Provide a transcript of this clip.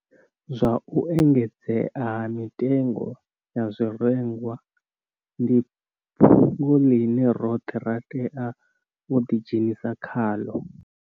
Zwa u engedzea ha mitengo ya zwirengwa ndi fhungo ḽine roṱhe ra tea u ḓidzhenisa khaḽo.